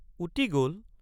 উটি গল?